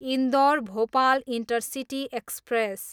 Indore, Bhopal intercity express